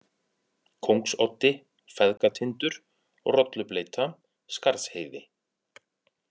Kóngsoddi, Feðgatindur, Rollubleyta, Skarðsheiði